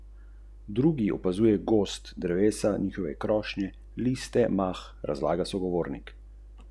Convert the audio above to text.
Že dolgo je ujet v vajeti zabavne industrije, zato neprilagojeni najdejo mir na obrobju, v mikrosvetovih, na posvečenih mestih.